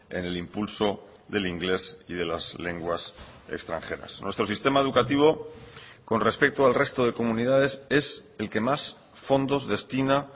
en el impulso del inglés y de las lenguas extranjeras nuestro sistema educativo con respecto al resto de comunidades es el que más fondos destina